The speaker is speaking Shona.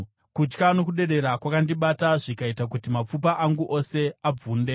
kutya nokudedera zvakandibata zvikaita kuti mapfupa angu ose abvunde.